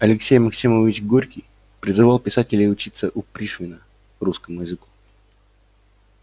алексей максимович горький призывал писателей учиться у пришвина русскому языку